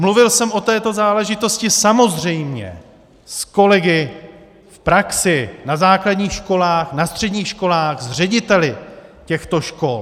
Mluvil jsem o této záležitosti samozřejmě s kolegy v praxi, na základních školách, na středních školách, s řediteli těchto škol.